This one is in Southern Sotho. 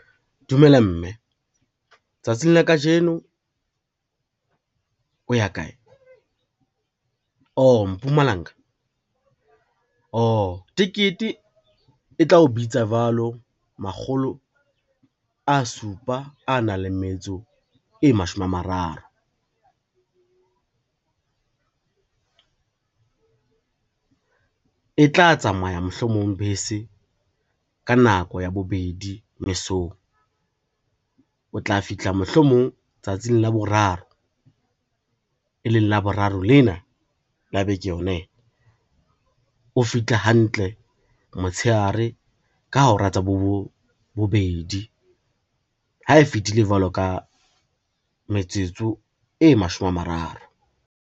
Dumela mme, tsatsing la kajeno o ya kae? Oh Mpumalanga, oh tekete e tla o bitsa jwalo makgolo a supa a nang le metso e mashome a mararo. E tla tsamaya mohlomong bese, ka nako ya bobedi mesong, o tla fihla mohlomong tsatsing la boraro, e leng Laboraro lena la beke yona ena. O fihle hantle motshehare ka hora tsa bo bobedi ha e fitile jwalo ka metsotso e mashome a mararo.